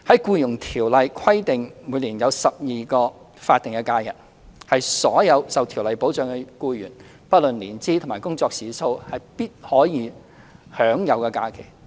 《僱傭條例》規定僱員每年有12天法定假日，是所有受條例保障的僱員，不論年資及工作時數，必可享有的假期。